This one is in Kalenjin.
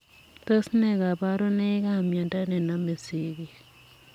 Tos nee kabarunoik ap miondo nenomee sigilk ak